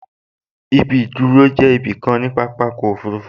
Ibi ìdúró jẹ́ ibi kan nínú pápákọ̀ òfurufú